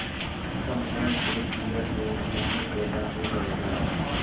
इसका मुंह देख लिया तो मोह पैदा हो जाएगा